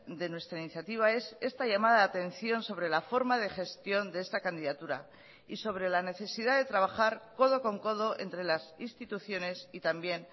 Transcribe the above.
de nuestra iniciativa es esta llamada de atención sobre la forma de gestión de esta candidatura y sobre la necesidad de trabajar codo con codo entre las instituciones y también